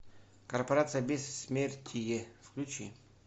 корпорация бессмертие включи